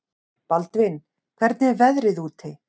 Baldvin, hvernig er veðrið úti?